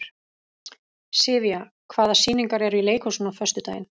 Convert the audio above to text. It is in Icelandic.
Sivía, hvaða sýningar eru í leikhúsinu á föstudaginn?